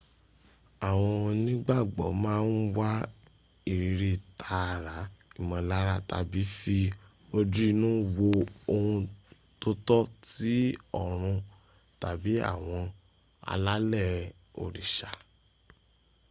àwọn onígbàgbọ́ máa ń wa ìríri tààrà́ ìmọ̀́lára tàbí fi ojú inú wo ohun tótọ́ ti ọ̀run tàbí àwọn alálẹ̀ òrìsà